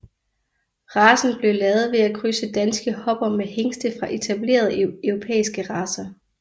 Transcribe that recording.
Racen blev lavet ved at krydse danske hopper med hingste fra etablerede europæiske racer